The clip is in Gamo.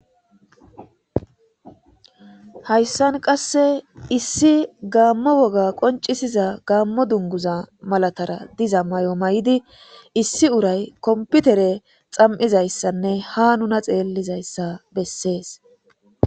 hayssan qasse issi gaammo woga qoncisiza gaammo dunguza malatara diza may'o may'di issi uray komputere xam'izayssanne ha nuna xeellizayssa bessees